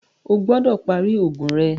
Ọ gbọdọ pari oogun rẹ!